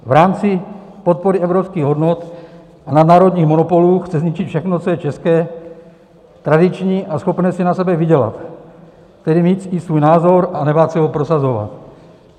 V rámci podpory evropských hodnot a nadnárodních monopolů chce zničit všechno, co je české, tradiční a schopné si na sebe vydělat, tedy mít i svůj názor a nebát se ho prosazovat.